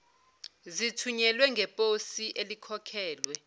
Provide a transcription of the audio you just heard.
zithunyelwe ngeposi elikhokhelwe